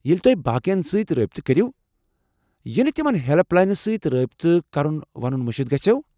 ییٚلہ تو٘ہہِ باقین سۭتۍ رٲبطہٕ كرِیو ، ینہٕ تِمن ہیلپ لاینس سۭتۍ رٲبطہٕ كرُن ونُن مشِتھ گژھٮ۪و ۔